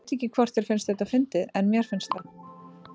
Ég veit ekki hvort þér finnst þetta fyndið en mér finnst það.